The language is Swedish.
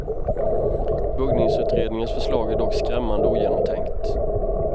Buggningsutredningens förslag är dock skrämmande ogenomtänkt.